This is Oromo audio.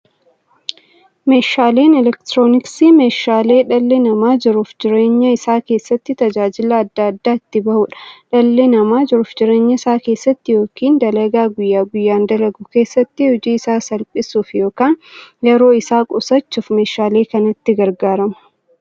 Meeshaaleen elektirooniksii meeshaalee dhalli namaa jiruuf jireenya isaa keessatti, tajaajila adda addaa itti bahuudha. Dhalli namaa jiruuf jireenya isaa keessatti yookiin dalagaa guyyaa guyyaan dalagu keessatti, hojii isaa salphissuuf yookiin yeroo isaa qusachuuf meeshaalee kanatti gargaarama.